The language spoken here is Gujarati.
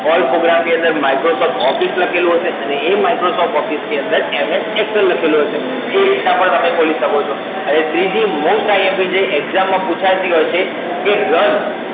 All Programs ની અંદર Microsoft Office લખેલું હશે અને એ Microsoft Office ની અંદર MS Excel લખેલું હશે. એ રીતના પણ તમે ખોલી શકો છો. હવે ત્રીજું most IMP જે Exam માં પૂછાતી હોય છે કે Run